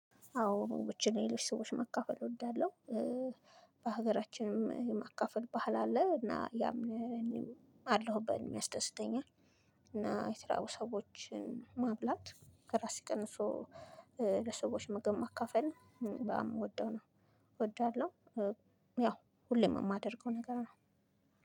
አዎ ላይ ሰዎች መካፈል እወዳለሁ በሀገራችንም የማካፈል ባህል አለ እና ያም አለሁበት ያስደስተኛል። እና የተራቡ ሰዎችን ማብላት ከራስ ቀንሶ ለሰዎች ምግብ ማካፈል እምወደው ነው እወደዋለሁ። ያ ሁሌም እማደርገው ነገር ነው።